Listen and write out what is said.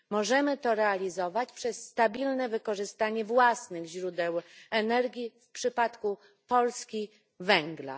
Możemy to realizować przez stabilne wykorzystanie własnych źródeł energii, w przypadku Polski węgla.